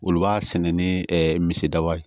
Olu b'a sɛnɛ ni ɛ misali ye